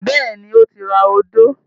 Bẹ́ẹ̀ni, ó ti ra odó.